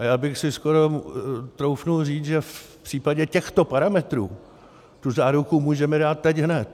A já bych si skoro troufl říct, že v případě těchto parametrů tu záruku můžeme dát teď hned.